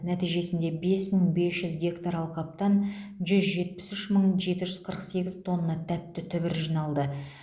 нәтижесінде бес мың бес жүз гектар алқаптан жүз жетпіс үш мың жеті жүз қырық сегіз тонна тәтті түбір жиналды